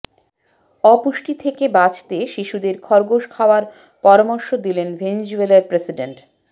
অপুষ্টি থেকে বাঁচতে শিশুদের খরগোশ খাওয়ার পরামর্শ দিলেন ভেনিজুয়েলার প্রেসিডেন্ট